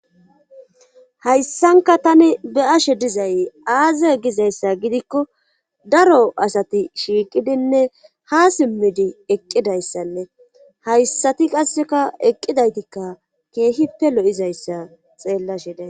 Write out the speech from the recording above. hayssanka tani be ashe dizay aaza gizayssa gidikko daro asati shiiqidinne ha simmidi eqqidayssanne hayssati qasseka eqqidaytikka keehippe lo7izayssa xeellashiday